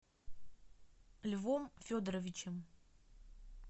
львом федоровичем